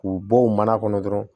K'u bɔ o mana kɔnɔ dɔrɔn